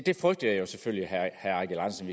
som